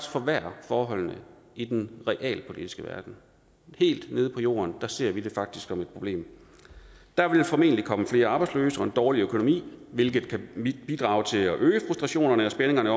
forværre forholdene i den realpolitiske verden helt nede på jorden ser vi det faktisk som et problem der vil formentlig komme flere arbejdsløse og en dårligere økonomi hvilket kan bidrage til at øge frustrationerne og spændingerne